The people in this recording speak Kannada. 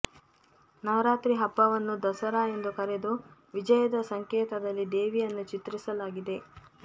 ನವರಾತ್ರಿ ಹಬ್ಬವನ್ನು ದಸರಾ ಎಂದು ಕರೆದು ವಿಜಯದ ಸಂಕೇತದಲ್ಲಿ ದೇವಿಯನ್ನು ಚಿತ್ರಿಸಲಾಗಿದೆ